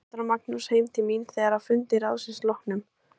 Alexander og Magnús heim til mín þegar að fundi ráðsins loknum.